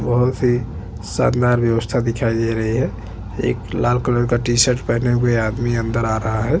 बोहोत ही शानदार व्यवस्था दिखाई दे रही है एक लाल कलर का टी -शर्ट पेहने हुए आदमी अंदर आ रहा हैं।